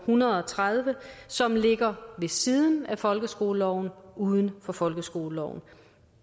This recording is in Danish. hundrede og tredive en som ligger ved siden af folkeskoleloven uden for folkeskoleloven